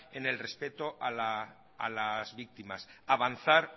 en el respeto a las víctimas avanzar